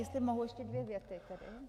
Jestli mohu ještě dvě věty.